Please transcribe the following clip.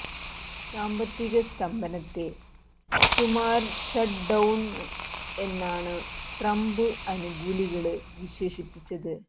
സാമ്പത്തിക സ്തംഭനത്തെ ഷൂമാര് ഷട്ട് ഡൌണ് എന്നാണു ട്രംപ് അനുകൂലികള് വിശേഷിപ്പിച്ചത്